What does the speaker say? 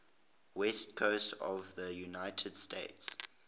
west coast of the united states